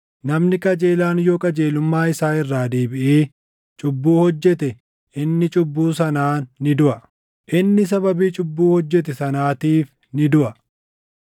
Namni qajeelaan yoo qajeelummaa isaa irraa deebiʼee cubbuu hojjete inni cubbuu sanaan ni duʼa. Inni sababii cubbuu hojjete sanaatiif ni duʼa.